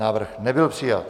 Návrh nebyl přijat.